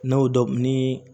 N'o dɔ ni